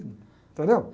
Entendeu?